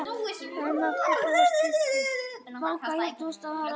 Það mátti búast við því.